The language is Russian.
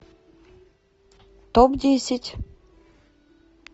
топ десять